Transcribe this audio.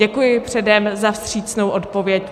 Děkuji předem za vstřícnou odpověď.